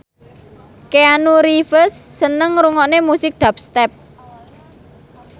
Keanu Reeves seneng ngrungokne musik dubstep